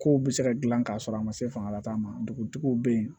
Kow be se ka gilan k'a sɔrɔ a ma se fanga ta ma dugutigiw be yen